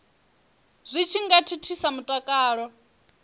zwi tshi nga thithisa mutakalo